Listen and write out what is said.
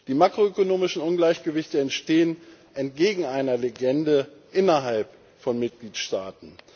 Die makroökonomischen Ungleichgewichte entstehen entgegen einer Legende innerhalb von Mitgliedstaaten.